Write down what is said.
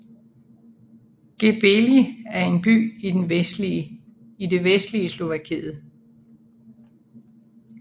Gbely er en by i det vestlige Slovakiet